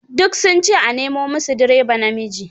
Duk sun ce a nemo musu direba namiji